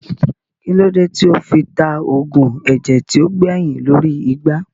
Kílódé tí ó fi ta oògùn ẹ̀jẹ̀ tí ó gbẹyìn lórí igbá